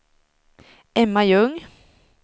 Emma Ljung